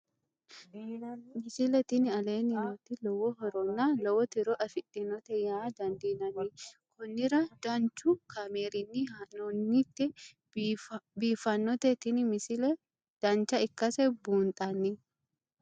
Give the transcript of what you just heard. misile tini aleenni nooti lowo horonna lowo tiro afidhinote yaa dandiinanni konnira danchu kaameerinni haa'noonnite biiffannote tini misile dancha ikkase buunxanni